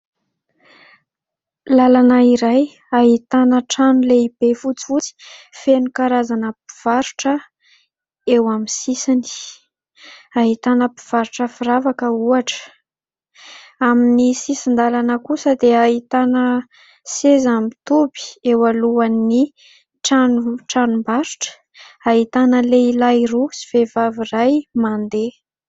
Lalana iray ahitana trano lehibe fotsifotsy feno karazana mpivarotra eo amin'ny sisiny. Ahitana mpivarotra firavaka ohatra. Amin'ny sisin-dalana kosa dia ahitana seza mitoby eo alohan'ny tranombarotra ahitana lehilahy roa sy vehivavy iray mandeha.